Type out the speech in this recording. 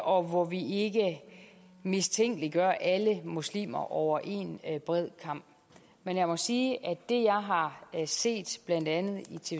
og hvor vi ikke mistænkeliggør alle muslimer over en bred kam men jeg må sige at det jeg har set blandt andet